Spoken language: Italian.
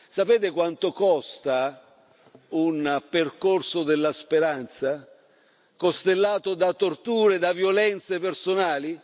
Sapete quanto costa un percorso della speranza, costellato da torture e da violenze personali?